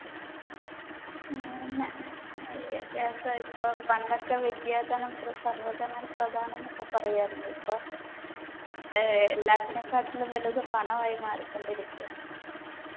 അതെന്നെ വിദ്യാഭ്യാസം ഇപ്പൊ പണ്ടൊക്കെ വിദ്യാധനം പ്ര സർവ്വധനാൽ പ്രധാനന്നൊക്കെ പറയായിരുന്നു ഇപ്പൊ ഏർ എല്ലാറ്റിനെക്കാട്ടിലും വലുത് പണമായി മാറിക്കൊണ്ടിരിക്കുവാന്ന്